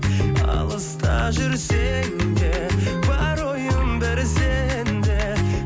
алыста жүрсем де бар ойым бір сенде